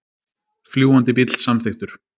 Fljúgandi bíll samþykktur